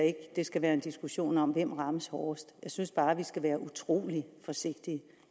ikke det skal være en diskussion om hvem der rammes hårdest jeg synes bare vi skal være utrolig forsigtige